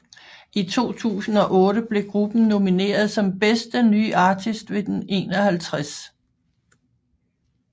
I 2008 blev gruppen nomineret som Bedste Nye Artist ved den 51